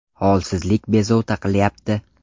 Holsizlik bezovta qilyapti.